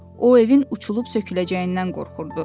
O evin uçulub söküləcəyindən qorxurdu.